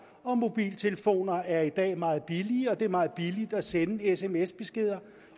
og mobiltelefoner er i dag meget billigere og det er meget billigt at sende sms beskeder